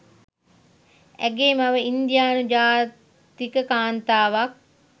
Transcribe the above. ඇගේ මව ඉන්දියානු ජාතික කාන්තාවක්